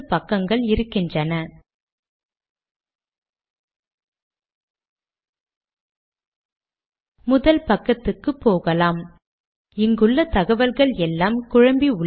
அடிக்கடி சேவ் செய்வது ஒரு நற்பழக்கம்